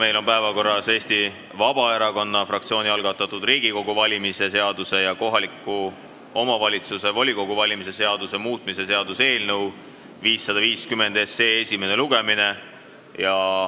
Meil on päevakorras Eesti Vabaerakonna fraktsiooni algatatud Riigikogu valimise seaduse ja kohaliku omavalitsuse volikogu valimise seaduse muutmise seaduse eelnõu 550 esimene lugemine.